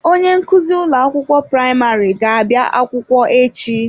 Onye nkuzi ụlọ akwụkwọ praịmarị ga-abịa akwụkwọ echi.